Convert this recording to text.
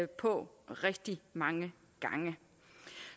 på rigtig mange gange